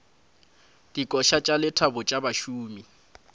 dikoša tša lethabo tša bašomi